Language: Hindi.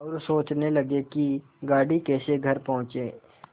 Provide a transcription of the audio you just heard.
और सोचने लगे कि गाड़ी कैसे घर पहुँचे